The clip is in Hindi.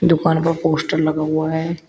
दुकान पर पोस्टर लगा हुआ है।